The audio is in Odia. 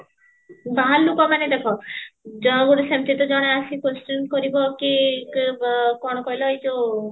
ବାହାର ଲୋକ ମାନେ ଦେଖ ଆସି question କରିବ କି କଣ କହିଲା ଏଇ ଯୋଉ